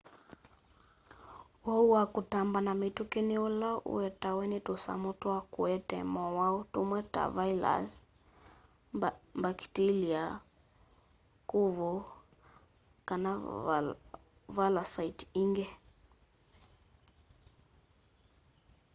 uwau wa kutamba na mituki ni ula uetawe ni tusamu twa kuete mowau tumwe ta vailasi mbakitilia kuvu kana valasaiti ingi